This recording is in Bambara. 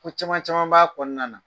Ko caman caman b' kɔnɔna na.